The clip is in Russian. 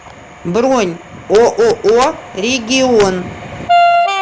бронь ооо регион